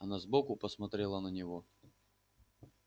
она сбоку посмотрела на него